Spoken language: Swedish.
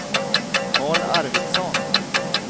Carl Arvidsson